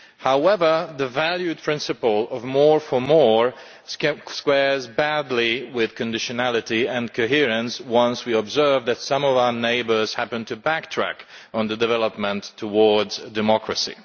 However, the valued principle of more for more' squares badly with conditionality and coherence once we observe that some of our neighbours happen to backtrack on development towards democracy.